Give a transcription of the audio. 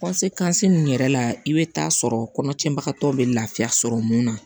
ninnu yɛrɛ la i bɛ taa sɔrɔ kɔnɔtiɲɛbagatɔ bɛ lafiya sɔrɔ mun na